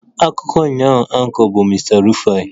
Akụkọ ụnyaahụ Anchor bụ Mr Rufai